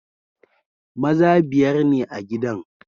Maza biyar ne a gidan.